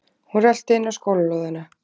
Hún röltir inn á skólalóðina.